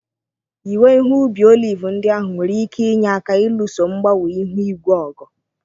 Ịwe ihe ubi oliv ndị ahụ nwere ike inye aka ịlụso mgbanwe ihu igwe ọgụ.